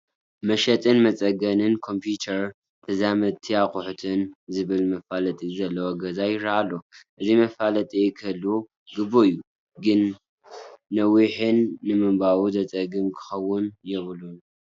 መሸጥን መፀገንን ኮምፒዩተር ተዛመድቲ ኣቑሑትን ዝብል መፋለጢ ዘለዎ ገዛ ይርአ ኣሎ፡፡ እዚ መፋለጢ ክህሉ ግቡእ እዩ፡፡ ግር ነዊሕን ንምንባቡ ዘፀግምን ክኸውን የብሉን፡፡